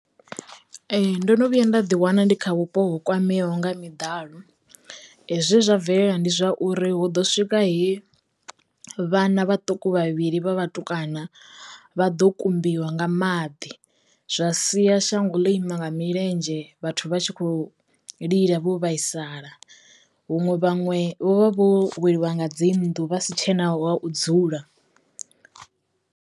Ee ndo no vhuya nda ḓi wana ndi kha vhupo ho kwameaho nga miḓalo zwe zwa bvelela ndi zwauri hu ḓo swika he vhana vhaṱuku vhavhili vha vhatukana vha ḓo kumbiwa nga maḓi zwa sia shango ḽo ima nga milenzhe vhathu vha tshi khou lila vho vhaisala huṅwe vhanwe vho vha vho weliwa nga dzi nnḓu vha si tshena ho u dzula.